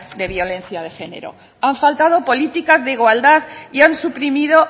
de violencia de género han faltado políticas de igualdad y han suprimido